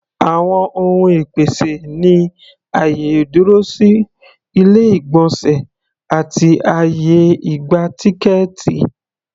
Àwọn ohun ìpèsè ni àyè ìdúrósí, ilé-ìgbọ̀nsẹ̀ àti àyè ìgba-tíkẹ́ẹ̀tì.